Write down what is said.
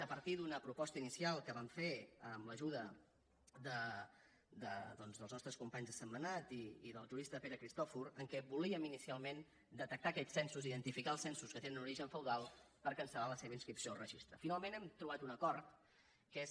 a partir d’una proposta inicial que vam fer amb l’ajuda doncs dels nostres companys de sentmenat i del jurista pere cristòfol en què volíem inicialment detectar aquests censos identificar els censos que tenen un origen feudal per cancelhem trobat un acord que és